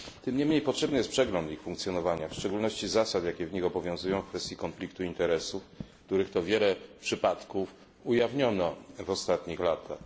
Tym niemniej potrzebny jest przegląd ich funkcjonowania, w szczególności zasad, jakie w nich obowiązują w kwestii konfliktu interesów, których to wiele przypadków ujawniono w ostatnich latach.